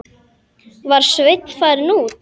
Var Sveinn farinn út?